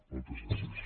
moltes gràcies